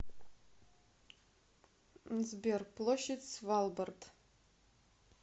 сбер площадь свалбард